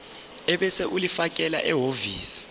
ebese ulifakela ehhovisi